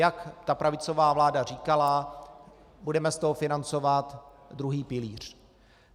Jak ta pravicová vláda říkala, budeme z toho financovat druhý pilíř.